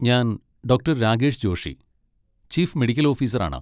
ഞാൻ doctor Rakesh Joshi, chief medical ഓഫീസറാണ്.